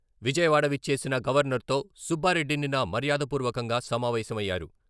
విజయవాడ విచ్చేసిన గవర్నర్తో సుబ్బారెడ్డి నిన్న మర్యాదపూర్వకంగా సమావేశమయ్యారు.